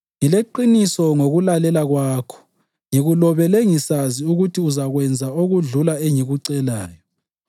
Ngileqiniso ngokulalela kwakho, ngikulobela ngisazi ukuthi uzakwenza okudlula engikucelayo.